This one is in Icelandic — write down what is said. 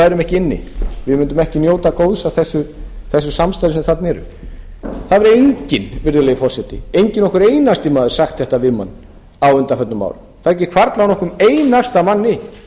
værum ekki inni við mundum ekki njóta góðs af þessu samstarfi sem þarna er það hefur enginn virðulegi forseti ekki nokkur einasti maður sagt þetta við mann á undanförnum árum það hefur ekki hvarflað að nokkrum einasta manni